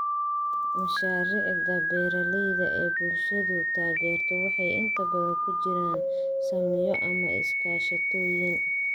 Mashaariicda beeralayda ee bulshadu taageerto waxay inta badan ku jiraan saamiyo ama iskaashatooyin.